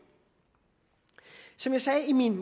som jeg sagde i min